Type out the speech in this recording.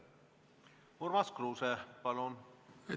Urmas Kruuse, palun!